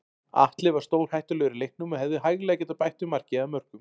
Atli var stórhættulegur í leiknum og hefði hæglega getað bætt við marki eða mörkum.